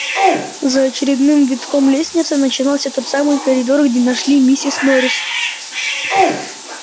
за очередным витком лестницы начинался тот самый коридор где нашли миссис норрис